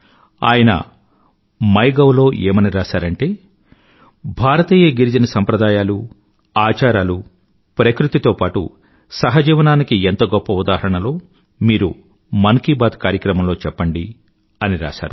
ఆయన MyGov లో ఏమని రాసారంటే భారతీయ గిరిజన సంప్రదాయాలు ఆచారాలూ ప్రకృతితో పాటు సహజీవనానికి ఎంత గొప్ప ఉదాహరణలో మీరు మన్ కీ బాత్ కార్యక్రమంలో చెప్పండి అని రాశారు